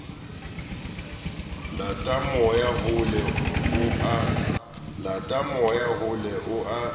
lata moya hole o a